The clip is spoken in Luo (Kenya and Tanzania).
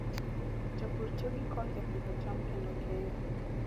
Jopur tiyo gi koth e pidho cham kendo keyo.